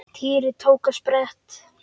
Týri tók á sprett.